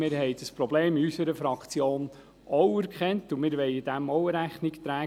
Wir haben dieses Problem in unserer Fraktion auch erkannt und wollen dem Rechnung tragen.